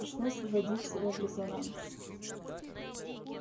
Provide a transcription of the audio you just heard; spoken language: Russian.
пришлось вводить себя в резонанс